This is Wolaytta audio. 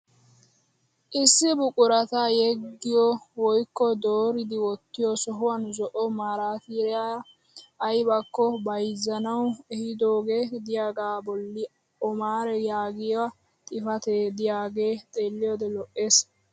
Issi buqurata yeggiyo woykko dooridi wottiyo sohuwan zo'o marttiyaara ayibbakko bayizzanawu ehiidooge diyagaa bolli omaar yaagiya xifatee diyagee xeelliyode lo'es.